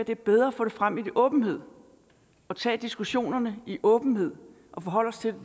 det er bedre at få det frem i åbenhed og tage diskussionerne i åbenhed og forholde os til